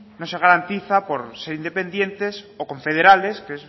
no se garantiza por ser independientes o confederales que